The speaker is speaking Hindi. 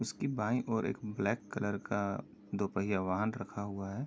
उसकी बाईं ओर एक ब्लैक कलर का दो पहिया वाहन रखा हुआ है।